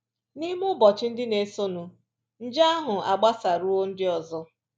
N’ime ụbọchị ndị na-esonụ, nje ahụ agbasaruo ndị ọzọ